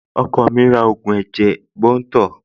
Ọkọ mi ra ògùn ẹ̀jẹ̀ bunto